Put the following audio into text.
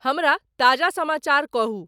हमरा ताजा समाचार कहूं